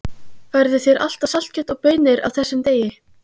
Færðu þér alltaf saltkjöt og baunir á þessum degi?